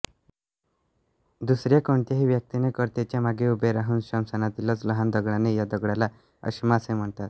दुसर्या कोणत्याही व्यक्तीने कर्त्याच्या मागे उभे राहून स्मशानातीलच लहान दगडाने या दगडाला अश्मा असे म्हणतात